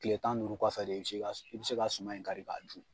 kile tan ni duuru kɔfɛ de i be se ka su i be se ka suma in kari k'a dun